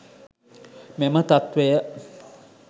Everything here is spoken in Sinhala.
මෙම තත්වය